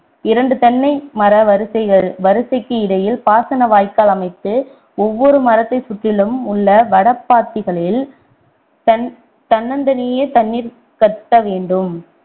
இரண்டு தென்னை மர வரிசைகள்~ வரிசைக்கு இடையில் பாசன வாய்க்கால் அமைத்து ஒவ்வொரு மரத்தைச் சுற்றிலும் உள்ள வடப்பாத்திகளில் தனி~ தன்னந்தனியே தண்ணீர் கட்ட வேண்டும்